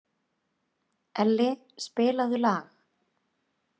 Elli, spilaðu lag.